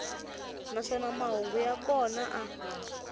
naswona mahungu ya kona a